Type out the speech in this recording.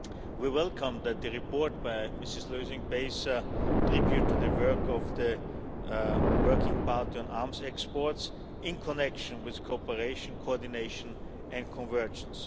We welcome that the report by Ms Lösing pays tribute to the work of the Working Party on Arms Exports in connection with cooperation, coordination and convergence.